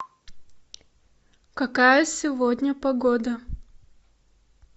какая сегодня погода